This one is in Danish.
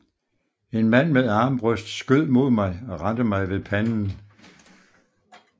En mand med armbrøst skød mod mig og ramte mig ved panden